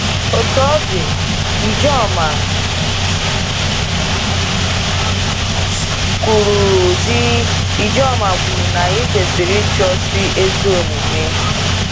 Otú ọ dị, Ijoma kwuru dị, Ijoma kwuru na anyị kwesịrị ịchụso ezi omume.